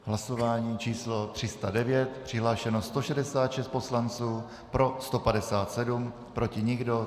Hlasování číslo 309, přihlášeno 166 poslanců, pro 157, proti nikdo.